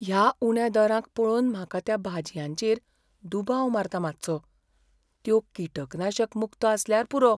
ह्या उण्या दरांक पळोवन म्हाका त्या भाजयांचेर दुबाव मारता मातसो. त्यो किटकनाशक मुक्त आसल्यार पुरो.